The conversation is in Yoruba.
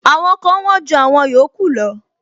Àwọn kan wón ju àwọn yòókù lọ.